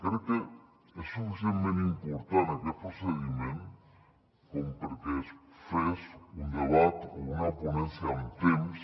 crec que és suficientment important aquest procediment com perquè es fes un debat o una ponència amb temps